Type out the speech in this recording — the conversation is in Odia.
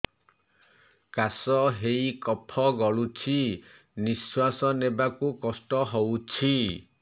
କାଶ ହେଇ କଫ ଗଳୁଛି ନିଶ୍ୱାସ ନେବାକୁ କଷ୍ଟ ହଉଛି